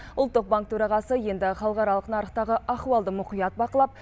ұлттық банк төрағасы енді халықаралық нарықтағы ахуалды мұқият бақылап